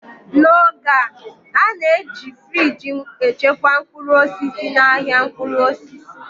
n'oge a, a na-eji friji echekwa mkpụrụ osisi n'ahịa mkpụrụ osisi